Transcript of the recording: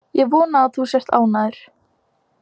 Ég vona að þú sért ánægður.